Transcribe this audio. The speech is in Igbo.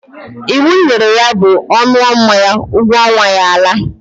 Iwu m nyere ya bụ, ọ ṅụọ mmanya, ụgwọ ọnwa ya alaa!